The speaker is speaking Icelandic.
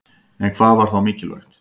En hvað var þá mikilvægt?